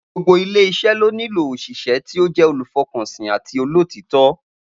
Gbogbo ilé is̩é̩ ló nílò òs̩ìs̩é̩ tí ó jé̩ olùfo̩kànsìn àti àti olótìító̩